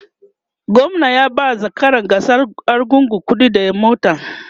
gwamna ya ba zakaran gasar argungu kuɗi da mota